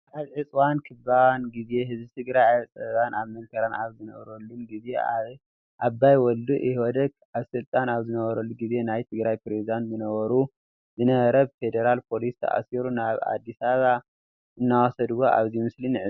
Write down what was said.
ኣብ ዕፅዋን ክባን ግዜ ህዝቢ ትግራይ ኣብ ፀበባን ኣብ መከራን ኣብ ዝነበረሉን ግዜ ኣባይ ወልዱ ኢህወደግ ኣብ ስልጣን ኣብ ዝነረሉ ግዜ ናይ ትግራይ ፕሬዝዴንት ዝነበረ ብፌደራል ፖሊስ ተኣሲሩ ናብ ኣዲስ ኣበባ እናወሰድዎ ኣብዚ ምስሊ ንዕዘብ።